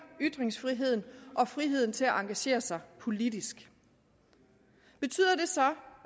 ytringsfriheden og friheden til at engagere sig politisk betyder det så